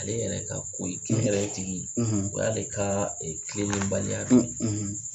Ale yɛrɛ ka ko yɛrɛ tigi o y'ale ka tilelenbali